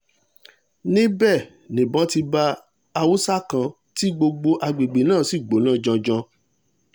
níbẹ̀ nìbọn ti bá haúsá kan tí gbogbo àgbègbè náà sì gbóná janjan